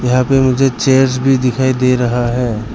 यहां पे मुझे चेयर्स भी दिखाई दे रहा है।